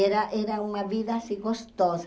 E era era uma vida assim gostosa.